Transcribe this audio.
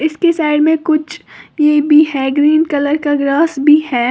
इसके साइड में कुछ ये भी है ग्रीन कलर का ग्रास भी है।